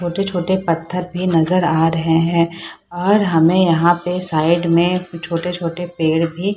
छोटे-छोटे पत्थर भी नजर आ रहे हैं और हमें यहाँ पे साइड में छोटे-छोटे पेड़ भी --